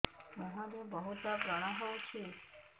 ମୁଁହରେ ବହୁତ ବ୍ରଣ ହଉଛି